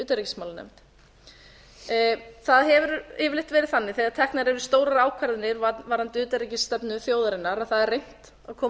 utanríkismálanefnd það hefur yfirleitt verið þannig þegar teknar eru stórar ákvarðanir varðandi utanríkisstefnu þjóðarinnar að það reynt að koma